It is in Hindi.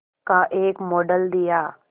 का एक मॉडल दिया